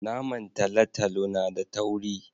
Naman talotalo na da tauri